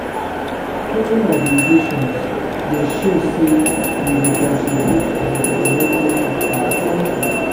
Filing obligations dey show say we dey contribute to the development of our country.